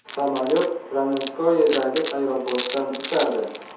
Samolyot Ramenskoyedagi aeroportdan uchadi.